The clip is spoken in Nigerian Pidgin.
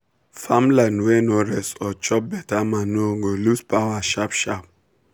farmland wey no rest or chop beta manure go lose power sharp sharp.